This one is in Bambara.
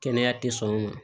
Kɛnɛya tɛ sɔn u ma